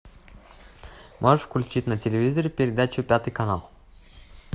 можешь включить на телевизоре передачу пятый канал